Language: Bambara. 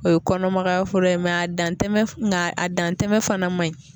O ye kɔnɔmagaya fura ye a dantɛmɛn nka a dantɛmɛn fana man ɲi.